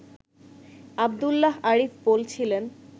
আবদুল্লাহ আরিফ বলছিলেন